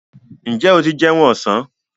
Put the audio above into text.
Ǹjẹ́ o ti jẹun ọ̀sán?